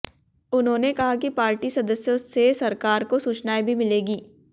उन्होंने कहा कि पार्टी सदस्यों से सरकार को सूचनाएं भी मिलेंगी